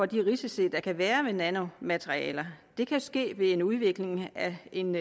de risici der kan være ved nanomaterialer det kan ske ved en udvikling af en